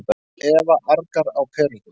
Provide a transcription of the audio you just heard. Eva argar á perurnar.